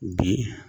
Bi